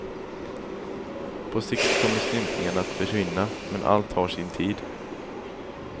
På sikt kommer stympningen att försvinna, men allt har sin tid.